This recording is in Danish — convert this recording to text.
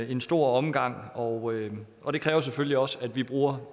en stor omgang og og det kræver selvfølgelig også at vi bruger